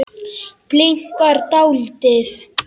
Bliknar dáldið.